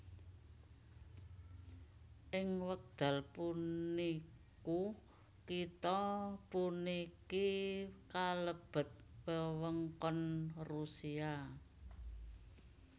Ing wekdal puniku kitha puniki kalebet wewengkon Rusia